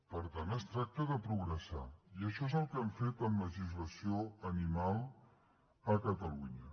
per tant es tracta de progressar i això és el que hem fet en legislació animal a catalunya